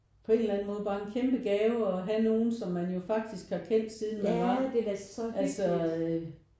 På en eller anden måde bare en kæmpe gave at have nogen som man jo faktisk har kendt siden man var altså